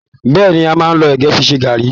Bẹ́ẹ̀ni, a máa n lọ ẹgẹ fí ṣe garri.